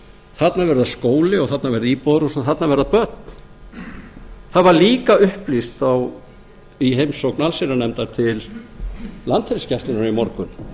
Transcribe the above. þarna verða skóli og þarna verða íbúðarhús og þarna verða börn það var upplýst í heimsókn allsherjarnefndar til landhelgisgæslunnar í morgun